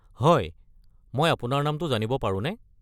হয়, মই আপোনাৰ নামটো জানিব পাৰোঁনে?